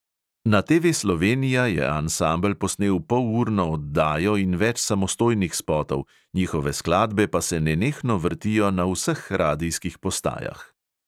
Na TV slovenija je ansambel posnel polurno oddajo in več samostojnih spotov, njihove skladbe pa se nenehno vrtijo na vseh radijskih postajah.